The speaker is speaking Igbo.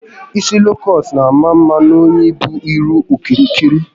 Isi loo kọọt n'ama mma n'onye bu ihu okirikiri